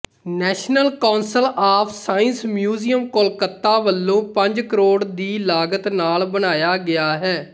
national council of science museum Kolkata ਵਲੋਂ ਪੰਜ ਕਰੋੜ ਦੀ ਲਾਗਤ ਨਾਲ਼ ਬਣਾਇਆ ਗਿਆ ਹੈ